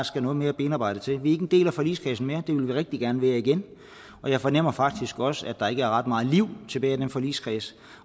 skal noget mere benarbejde til vi er ikke en del af forligskredsen mere det vil vi rigtig gerne være igen jeg fornemmer faktisk også at der ikke er ret meget liv tilbage i den forligskreds